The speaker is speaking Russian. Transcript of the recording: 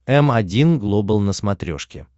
м один глобал на смотрешке